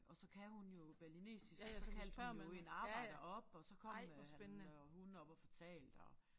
Og så kan hun jo balinesisk så kaldte hun jo en arbejder op og så kom øh han og hun op og fortalte og